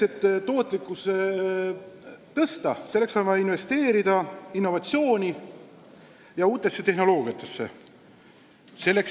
Et tootlikkust suurendada, on vaja investeerida innovatsiooni ja uutesse tehnoloogiatesse.